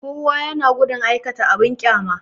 Kowa ya na gudun aikata abin ƙyama